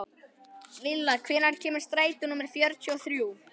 Villa, hvenær kemur strætó númer fjörutíu og þrjú?